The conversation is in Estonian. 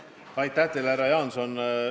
Aitäh teile, härra Jaanson!